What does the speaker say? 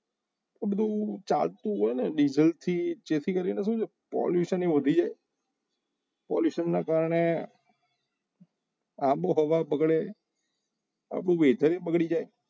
બધું ચાલતું હોય ને ડીઝલ થી જેથી કરીને શું છે પોલીસને વધી જાય pollution ના કારણે આબોહવા બગડે આખો વેધર એ બગડી જાય